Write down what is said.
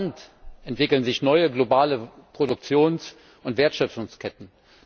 Denn rasant entwickeln sich neue globale Produktions und Wertschöpfungsketten.